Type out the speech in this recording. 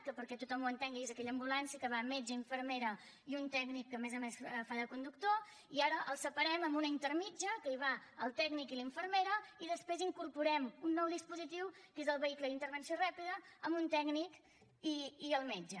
que perquè tothom ho entengui és aquella ambulància que hi van metge infermera i un tècnic que a més a més fa de conductor i ara els separem amb una intermèdia que hi van el tècnic i la infermera i després incorporem un nou dispositiu que és el vehicle d’intervenció ràpida amb un tècnic i el metge